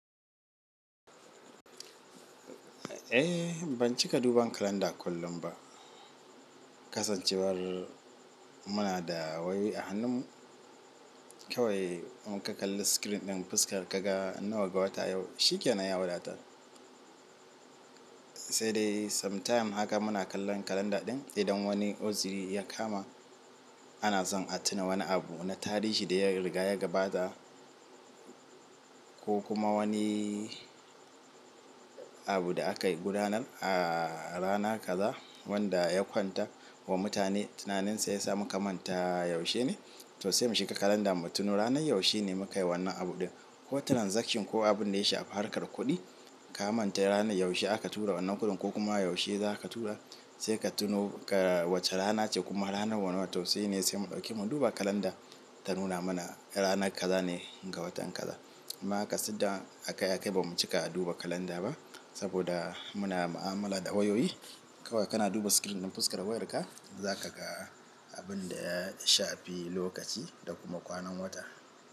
Eh ban cika duba kalanda kullum ba. Kasancewar muna da wayoyi a hannunmu, kawai in ka kalla screen ɗin fuskar ka ga nawa ga wata yau, shi ke nan ya wadatar. Sai dai sometime haka muna kallon kalanda ɗin idan wani uzuri ya kama ana zan a tina wani abu na tarihi da ya riga ya gabata ko kuma wani abu da aka gudanar a rana kaza wanda ya kwanta wa mutane tunaninsa ya sa muka manta yaushe ne. To sai mu shiga kalanda mu tuno ranar yaushe ne muka yi wannan abu ɗin ko transaction ko abin da ya shafi harkar kuɗi ka manta ranar yaushe aka tura wannan kuɗin ko kuma yaushe za ka tura sai ka tuno ga wace rana ce kuma ranar wane wata sai ne sai mu ɗauki mu duba kalanda ta nuna mana ranar kaza ne ga watan kaza. Amma haka siddan a kai a kai ba mu cika a duba kalanda ba saboda muna ma'amala da wayoyi. Kawai kana duba screen ɗin fuskar wayarka za ka ga abin da ya shafi lokaci da kuma kwanan wata.